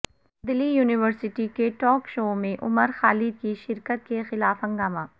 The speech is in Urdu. دلی یونیورسٹی کے ٹاک شو میں عمر خالد کی شرکت کے خلاف ہنگامہ